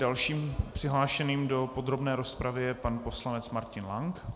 Dalším přihlášeným do podrobné rozpravy je pan poslanec Martin Lank.